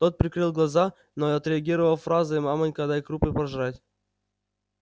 тот прикрыл глаза но отреагировал фразой маманька дай крупы пожрать